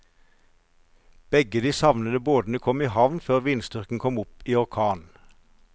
Begge de savnede båtene kom i havn før vindstyrken kom opp i orkan.